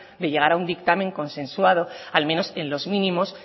de llegar a un dictamen consensuado al menos en los mínimos